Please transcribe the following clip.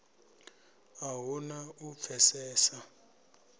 a hu na u pfesesa